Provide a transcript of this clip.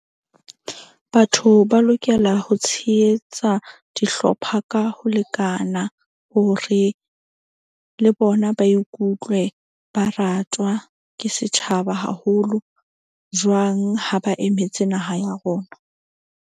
Batho ba lokela ho tshehetsa dihlopha ka ho lekana, hore le bona ba ikutlwe ba ratwa ke setjhaba haholo jwang, ha ba emetse naha ya rona.